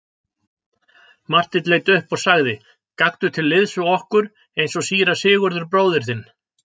Marteinn leit upp og sagði:-Gakktu til liðs við okkur eins og síra Sigurður bróðir þinn.